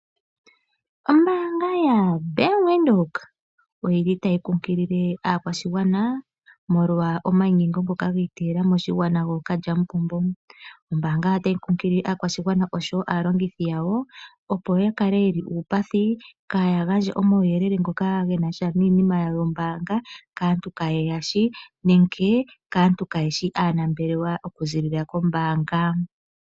Ombaanga ya Venduka oyi li tayi kunkilile aakwashigwana molwa omayinyengo ngoka gi iteyela moshigwana gookalyamupombo. Ombaanga otayi kunkilile aakwashigwana oshowo aalongithi yawo opo ya kale ye li uupathi kaya gandje omauyelele ngoka ge na sha nombaanga kaantu kaye ya shi nenge kaantu kayeshi aanambelewa oku ziilila kombaanga.